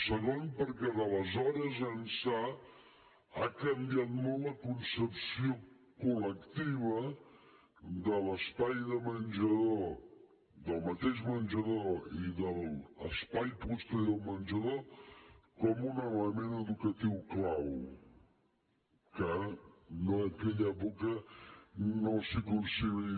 segon perquè d’aleshores ençà ha canviat molt la concepció col·lectiva de l’espai de menjador del mateix menjador i de l’espai posterior al menjador com un element educatiu clau que en aquella època no s’hi concebia